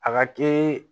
A ka ke